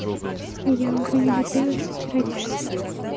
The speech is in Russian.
честно я уже не надеюсь что ты родишь сына